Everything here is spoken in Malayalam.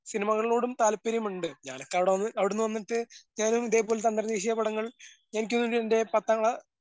സിനിമകളോടും താല്പര്യമുണ്ട്. ഞാന് എവിട അവിടന്ന് വന്നിട്ട് ഞാനും ഇതേപോലത്തെ അന്തർദേശീയ പടങ്ങൾ എനിക്ക് വേണ്ടി എൻ്റെ പത്താം ക്ലാ